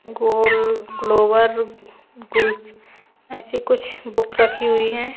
Goal Goa with gulls ऐसी कुछ book रखी हुई है।